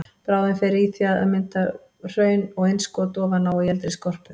Bráðin fer því í að mynda hraun og innskot ofan á og í eldri skorpu.